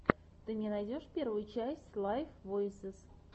ты мне найдешь первую часть лайв войсез